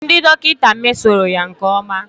Ndị dọkịta mesoro ya nke ọma